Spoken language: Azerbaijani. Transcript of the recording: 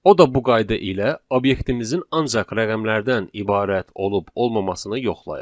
O da bu qayda ilə obyektimizin ancaq rəqəmlərdən ibarət olub-olmamasını yoxlayır.